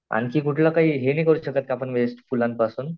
आणखी कुठला काही हे नाही करू शकत आपण वेस्ट फुलांपासून?